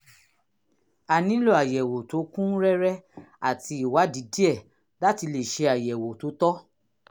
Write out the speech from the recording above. a nílò àyẹ̀wò tó kún rẹ́rẹ́ àti ìwádìí díẹ̀ láti lè ṣe àyẹ̀wò tó tọ́